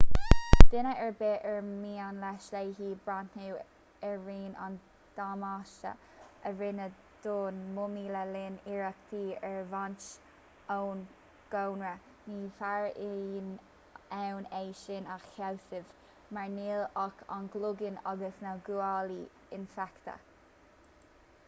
duine ar bith ar mian leis/léi breathnú ar rian an damáiste a rinneadh don mumaí le linn iarrachtaí ar a bhaint ón gcónra ní bheifear in ann é sin a shásamh mar níl ach an cloigeann agus na guaillí infheicthe